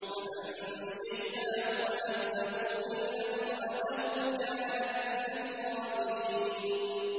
فَأَنجَيْنَاهُ وَأَهْلَهُ إِلَّا امْرَأَتَهُ كَانَتْ مِنَ الْغَابِرِينَ